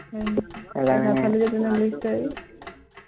হয় নেকি নাখালি যে তেনেহ'লে তই